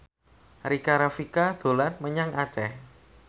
Rika Rafika dolan menyang Aceh